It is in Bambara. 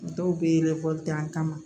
Dɔw bɛ dan kama